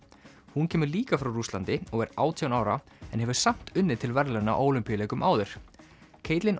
hún kemur líka frá Rússlandi og er átján ára en hefur samt unnið til verðlauna á Ólympíuleikum áður